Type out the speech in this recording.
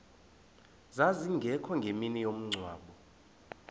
zazingekho ngemini yomngcwabo